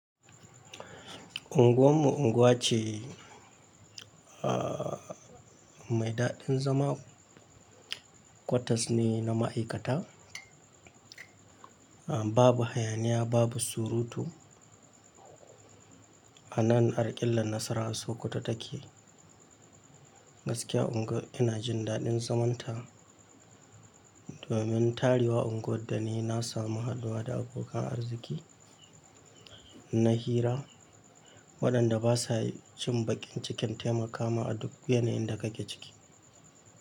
Unguwar mu unguwa ce a-mai daɗin zama. Kwatas ne na ma'aikata, a-babu hayaniya, babu surutu. A nan a ƙillar nasara sokoto take. Gaskiya unguwar ina jin daɗin zamanta. Domin tariwa unguwar da ne na samu haduwa da abokan arziki na hira waɗanda ba sa yi cin baƙin cikin taimaka ma a duk yanayin da kake ciki.